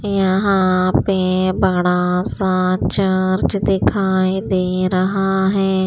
यहां पे बड़ा सा चर्च दिखाई दे रहा है।